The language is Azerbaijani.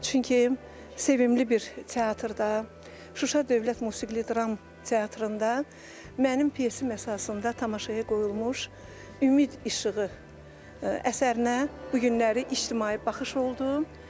Çünki sevimli bir teatrda, Şuşa Dövlət Musiqili Dram Teatrında mənim pyesim əsasında tamaşaya qoyulmuş "Ümid İşığı" əsərinə bu günləri ictimai baxış oldu.